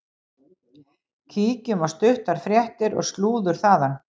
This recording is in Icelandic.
Kíkjum á stuttar fréttir og slúður þaðan.